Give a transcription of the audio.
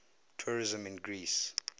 tourism in greece